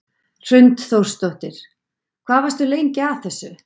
Hrund Þórsdóttir: Hvað varstu lengi að þessu?